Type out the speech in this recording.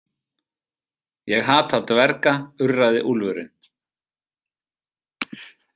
Ég hata dverga, urraði úlfurinn.